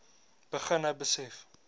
begin nou besef